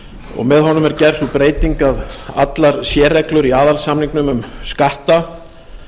og með honum er gerð sú breyting að allar sérreglur í aðalsamning um skatta